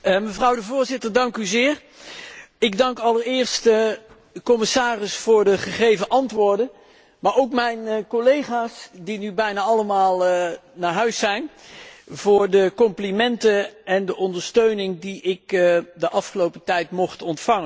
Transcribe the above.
Voorzitter, ik dank allereerst de commissaris voor de gegeven antwoorden, maar ook mijn collega's, die nu bijna allemaal naar huis zijn, voor de complimenten en de ondersteuning die ik de afgelopen tijd mocht ontvangen.